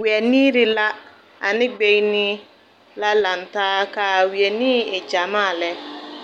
Wԑniiri la ane gbeŋini la lantaa, ka a wԑniiri e gyamaa lԑ.